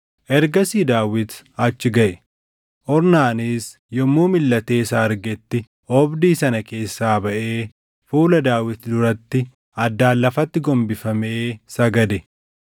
Ergasii Daawit achi gaʼe; Ornaanis yommuu milʼatee isa argetti oobdii sana keessaa baʼee fuula Daawit duratti addaan lafatti gombifamee sagade.